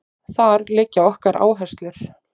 Þar liggja okkar áherslur